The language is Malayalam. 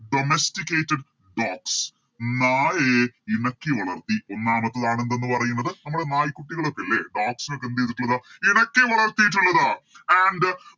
Domesticated dogs നായയെ ഇണക്കി വളർത്തി ഒന്നാമത്തേതാണ് എന്തെന്ന് പറയുന്നത് നമ്മളെ നായിക്കുട്ടികളൊക്കെയില്ലേ Dogs നെയൊക്കെ എന്ത് ചെയ്തിട്ടുള്ളത് ഇണക്കി വളർത്തിയിട്ടുള്ളത് And